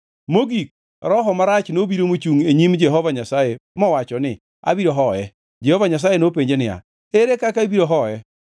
Mogik, roho marach nobiro mochungʼ e nyim Jehova Nyasaye mowacho ni, ‘Abiro hoye.’ ” Jehova Nyasaye nopenje niya, “Ere kaka ibiro hoye?”